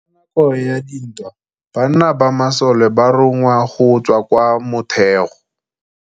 Ka nakô ya dintwa banna ba masole ba rongwa go tswa kwa mothêô.